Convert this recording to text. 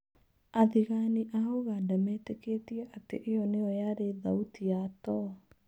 Athĩgani a ũganda metĩkĩtie atĩ ĩo nĩyo yarĩ thauti ya too.